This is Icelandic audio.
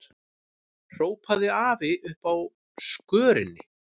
hrópaði afi uppi á skörinni.